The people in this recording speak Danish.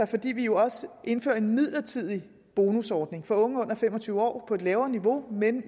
fordi vi jo også indfører en midlertidig bonusordning for unge under fem og tyve år på et lavere niveau med